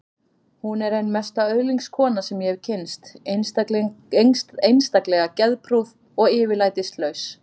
Hún er ein mesta öðlingskona sem ég hef kynnst, einstaklega geðprúð og yfirlætislaus.